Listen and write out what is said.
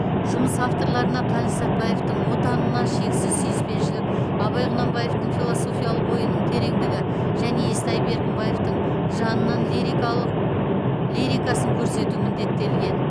жұмыс авторларына қаныш сәтбаевтың отанына шексіз сүйіспеншілік абай құнанбаевтың философиялық ойының тереңдігі және естай беркімбаевтың жанының лирикалық лирикасын көрсету міндеттелген